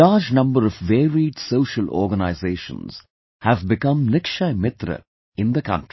A large number of varied social organizations have become Nikshay Mitra in the country